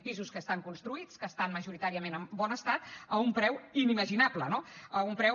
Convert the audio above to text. pisos que estan construïts que estan majoritàriament en bon estat a un preu inimaginable no a un preu